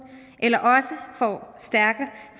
eller